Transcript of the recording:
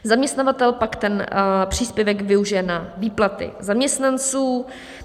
Zaměstnavatel pak ten příspěvek využije na výplaty zaměstnanců.